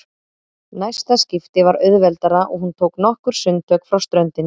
Næsta skipti var auðveldara og hún tók nokkur sundtök frá ströndinni.